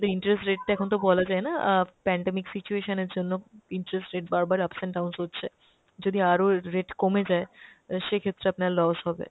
interest rate টা এখন তো বলা যায় না অ্যাঁ pandemic situation এর জন্য interest rate বার বার ups and downs হচ্ছে। যদি আরও rate কমে যায় অ্যাঁ সে ক্ষেত্রে আপনার lose হবে।